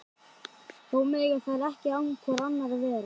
Þó mega þær ekki án hvor annarrar vera.